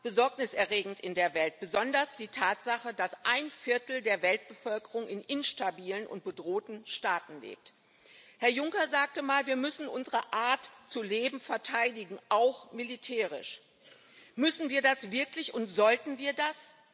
Herr Präsident! Vieles in der Welt ist in der Tat besorgniserregend, besonders die Tatsache, dass ein Viertel der Weltbevölkerung in instabilen und bedrohten Staaten lebt. Herr Juncker sagte mal Wir müssen unsere Art zu leben verteidigen auch militärisch. Müssen wir das wirklich, und sollten wir das?